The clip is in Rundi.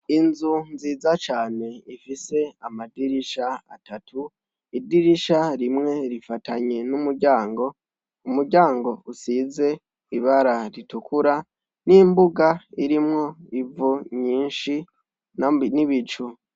Inzu nziza cane ifise amadirisha atatu, idirisha rimwe rifatanye n’umuryango, umuryango usize ibara ritukura, n’imbuga irimwo ivu nyinshi n’ibicu.